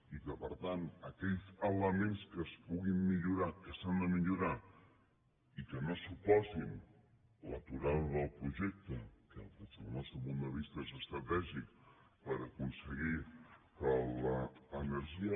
i que per tant aquells elements que es puguin millorar que s’han de millorar i que no suposin l’aturada del projecte que des del nostre punt de vista és estratègic per aconseguir que l’energia